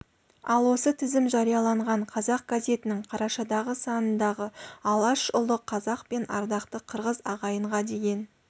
ал осы тізім жарияланған қазақ газетінің қарашадағы санындағы алаш ұлы қазақ пен ардақты қырғыз ағайынға деген